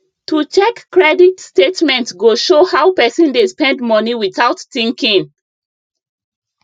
to check credit statement go show how person dey spend money without thinking